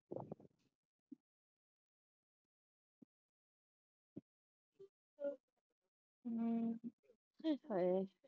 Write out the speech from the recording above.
ਹੂ ਨਿ ਹਾਏ